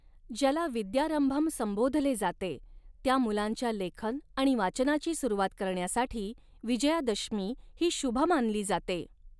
ज्याला विद्यारंभम संबोधले जाते, त्या मुलांच्या लेखन आणि वाचनाची सुरुवात करण्यासाठी विजयादशमी ही शुभ मानली जाते.